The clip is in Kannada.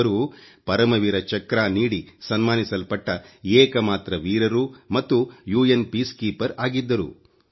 ಅವರು ಪರಮವೀರ ಚಕ್ರ ನೀಡಿ ಸನ್ಮಾನಿಸಲ್ಪಟ್ಟ ಏಕಮಾತ್ರ ವೀರರೂ ಮತ್ತು ವಿಶ್ವಸಂಸ್ಥೆಯ ಶಾಂತಿ ದೂತರಾಗಿದ್ದರು